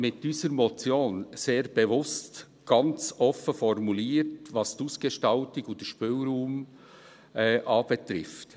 Wir haben unsere Motion sehr bewusst ganz offen formuliert, was die Ausgestaltung und den Spielraum anbetrifft.